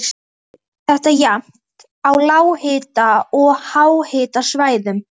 Nei, svarar hún um hæl og byrstir sig.